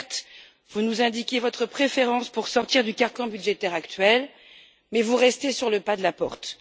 Certes, vous nous indiquez votre préférence pour sortir du carcan budgétaire actuel mais vous restez sur le pas de la porte.